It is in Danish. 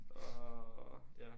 Åh ja